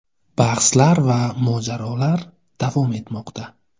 Bahslar va mojarolar davom etmoqda.